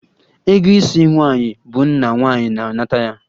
Ego isi nwaanyi bụ nna nwaanyi na-anata ya